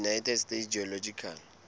united states geological